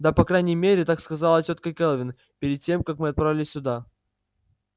да по крайней мере так сказала тётка кэлвин перед тем как мы отправились сюда